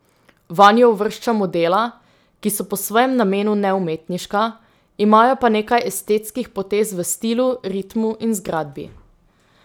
Vanjo uvrščamo dela, ki so po svojem namenu neumetniška, imajo pa nekaj estetskih potez v stilu, ritmu in zgradbi.